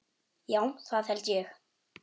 Já það held ég.